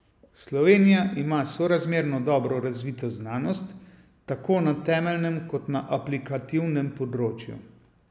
Slovenija ima sorazmerno dobro razvito znanost, tako na temeljnem kot na aplikativnem področju.